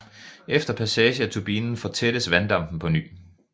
Efter passage af turbinen fortættes vanddampen på ny